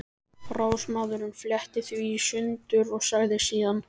Ráðsmaðurinn fletti því í sundur og sagði síðan